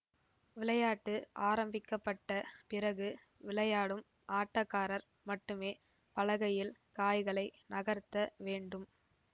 விளையாட்டு ஆரம்பிக்க பட்ட பிறகு விளையாடும் ஆட்டக்காரர் மட்டுமே பலகையில் காய்களை நகர்த்த வேண்டும்